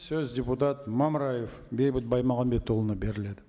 сөз депутат мамыраев бейбіт баймағамбетұлына беріледі